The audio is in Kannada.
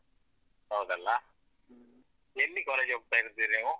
ಹೌದಲ್ಲ ಎಲ್ಲಿ college ಹೋಗ್ತಾ ಇರುದ್ ಇದ್ದೀರಿ ನೀವು?